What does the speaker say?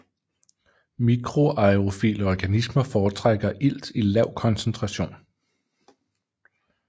Mikroaerofile organismer foretrækker ilt i lav koncentration